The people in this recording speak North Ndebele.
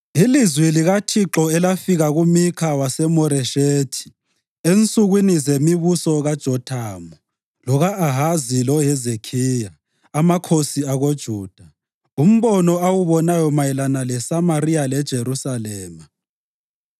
Ilizwi likaThixo elafika kuMikha waseMoreshethi ensukwini zemibuso kaJothamu, loka-Ahazi loHezekhiya, amakhosi akoJuda, umbono awubonayo mayelana leSamariya leJerusalema.